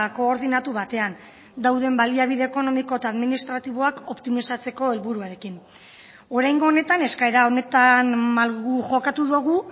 koordinatu batean dauden baliabide ekonomiko eta administratiboak optimizatzeko helburuarekin oraingo honetan eskaera honetan malgu jokatu dugu